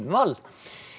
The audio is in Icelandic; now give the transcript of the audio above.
Wall